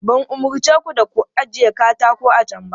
Ban umarce ku da ku ajiye katako a can ba?